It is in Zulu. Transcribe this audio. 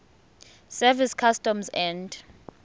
service customs and